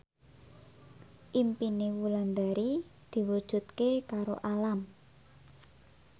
impine Wulandari diwujudke karo Alam